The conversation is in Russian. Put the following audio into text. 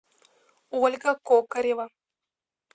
ольга кокарева